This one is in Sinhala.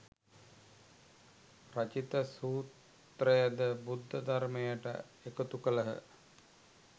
රචිත සූත්‍රයද බුද්ධ ධර්මයට එකතු කළහ